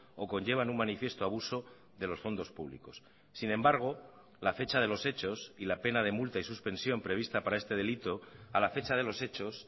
o conllevan un manifiesto abuso de los fondos públicos sin embargo la fecha de los hechos y la pena de multa y suspensión prevista para este delito a la fecha de los hechos